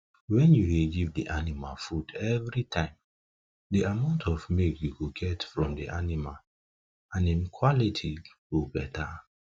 when you dey give de animal food everytime de amount of milk you go get from de animal and em quality go better